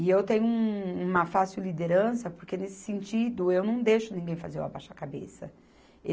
E eu tenho um, uma fácil liderança porque, nesse sentido, eu não deixo ninguém fazer eu abaixar a cabeça.